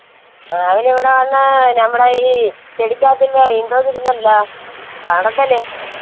അഹ് അവര് ഇവിടെ വന്നാൽ നമ്മടെ ഈ ചെടിക്കകത്തുള്ള